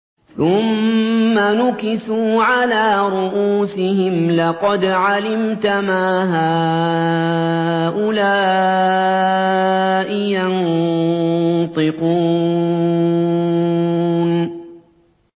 ثُمَّ نُكِسُوا عَلَىٰ رُءُوسِهِمْ لَقَدْ عَلِمْتَ مَا هَٰؤُلَاءِ يَنطِقُونَ